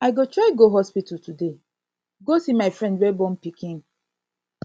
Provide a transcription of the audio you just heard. i go try go hospital today go see my friend wey born pikin